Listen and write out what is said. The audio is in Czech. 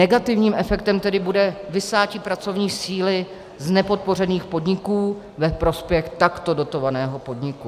Negativním efektem tedy bude vysátí pracovní síly z nepodpořených podniků ve prospěch takto dotovaného podniku.